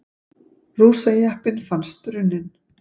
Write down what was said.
Rússajeppinn fannst brunninn